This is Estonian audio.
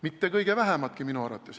Mitte kõige vähematki minu arvates.